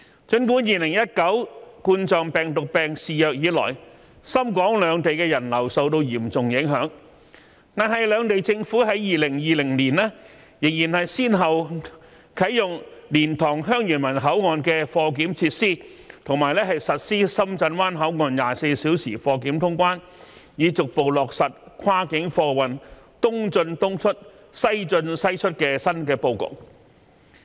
儘管2019冠狀病毒病肆虐以來，深港兩地的人流受到嚴重影響，但兩地政府在2020年仍先後啟用蓮塘/香園圍口岸的貨檢設施及在深圳灣口岸實施24小時貨檢通關，以逐步落實跨境貨運"東進東出、西進西出"的新布局。